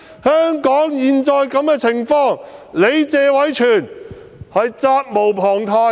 香港落得現在這個局面，謝偉銓議員實責無旁貸。